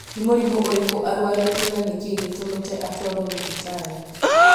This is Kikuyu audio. nĩ mũrimũ ũrĩkũ arũarĩte na nĩ kĩĩ gĩtũmĩte atwarwo thibitarĩ